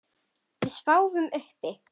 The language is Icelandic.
Við sváfum uppi.